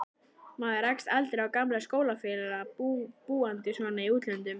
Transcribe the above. Maður rekst aldrei á gamla skólafélaga, búandi svona í útlöndum.